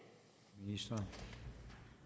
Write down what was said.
vi